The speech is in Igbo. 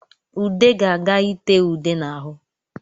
Ude ga-aga itee ude n'ahụ